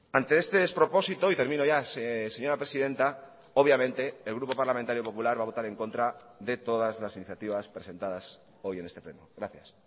ante este despropósito y termino ya señora presidenta obviamente el grupo parlamentario popular va a votar en contra de todas las iniciativas presentadas hoy en este pleno gracias